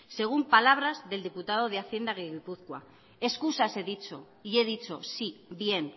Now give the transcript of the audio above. según palabras del diputado de hacienda de gipuzkoa excusas he dicho y he dicho sí bien